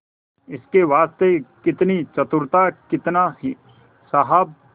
इसके वास्ते कितनी चतुरता कितना साहब